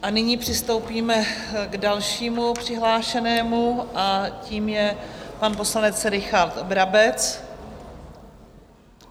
A nyní přistoupíme k dalšímu přihlášenému a tím je pan poslanec Richard Brabec.